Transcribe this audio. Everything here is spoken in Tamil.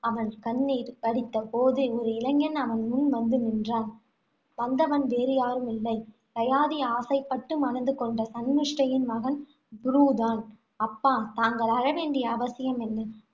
அவன் கண்ணீர் வடித்த போது, ஒரு இளைஞன் அவன் முன் வந்து நின்றான். வந்தவன் வேறு யாருமில்லை. யயாதி ஆசைப்பட்டு மணந்து கொண்ட சன்மிஷ்டையின் மகன் புரு தான்அப்பா தாங்கள் அழ வேண்டிய அவசியம் என்ன